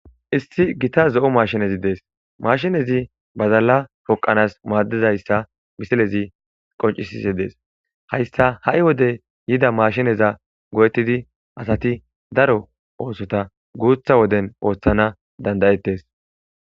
Isti gita zo'o mashinezi dees mashinezi bazalla poqanas maaddizayssa bisilezi qoncisise dees hayssa ha'i wode yida maashineza go'ettidi asati daro oosota guutha woden ooththana dandayettes.